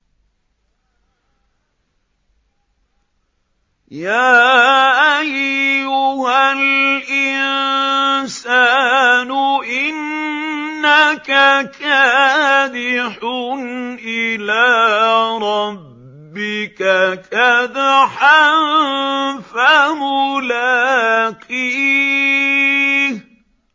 يَا أَيُّهَا الْإِنسَانُ إِنَّكَ كَادِحٌ إِلَىٰ رَبِّكَ كَدْحًا فَمُلَاقِيهِ